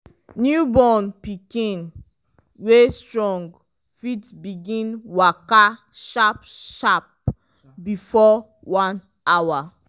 newborn pikin wey strong fit begin waka sharp sharp before one hour